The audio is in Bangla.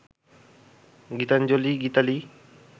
গীতাঞ্জলি, গীতালি